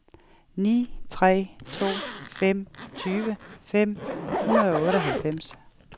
ni tre to fem tyve fem hundrede og otteoghalvfems